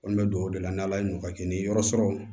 Kɔni bɛ don o de la ni ala ye n'o ka kɛ ni yɔrɔ sɔrɔ